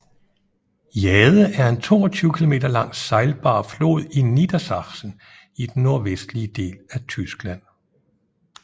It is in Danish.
Jade er en 22 km lang sejlbar flod i Niedersachsen i den nordvestlige del af Tyskland